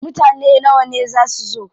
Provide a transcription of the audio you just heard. Mutane nawa ne za su zo?